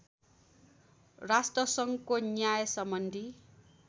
राष्ट्रसङ्घको न्याय सम्बन्धी